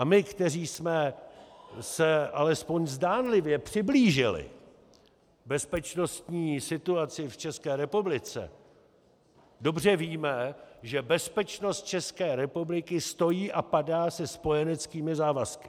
A my, kteří jsme se aspoň zdánlivě přiblížili bezpečnostní situaci v České republice, dobře víme, že bezpečnost České republiky stojí a padá se spojeneckými závazky.